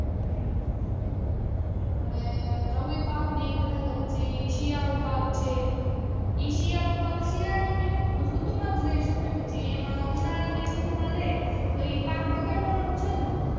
હમ અને રવિ પાક ની ઈ બધા તો પછી શિયાળુ પાક છે ઈ શિયાળુ પાક શિયાળા ની ઋતુ માં જ લઇ શકાય પછી એમાં ઉનાળા ની ઋતુમાં લે તો ઈ પાક બગાડવા નો છે ને